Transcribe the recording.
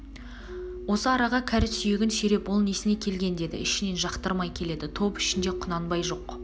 осы араға кәрі сүйегін сүйреп ол несіне келген деді ішінен жақтырмай келеді топ ішінде құнанбай жоқ